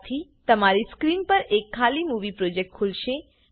આનાથી તમારી સ્ક્રીન પર એક ખાલી મુવી પ્રોજેક્ટ ખુલશે